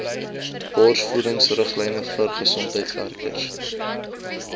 borsvoedingsriglyne bir gesondheidswerkers